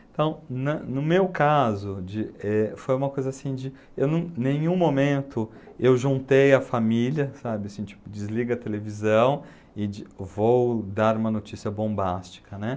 Então, na no meu caso, de, eh, foi uma coisa assim de... Eu não, em nenhum momento eu juntei a família, sabe, assim, tipo, desliga a televisão e de, vou dar uma notícia bombástica, né?